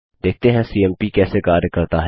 देखते हैं सीएमपी कैसे कार्य करता है